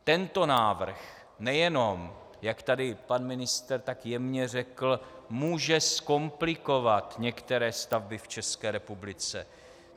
Tento návrh nejenom jak tady pan ministr tak jemně řekl, může zkomplikovat některé stavby v České republice.